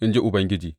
in ji Ubangiji.